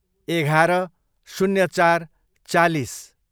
एघार, शून्य चार, चालिस